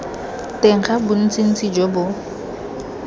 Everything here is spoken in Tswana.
teng ga bontsintsi jo bo